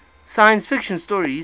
science fiction stories